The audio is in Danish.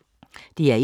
DR1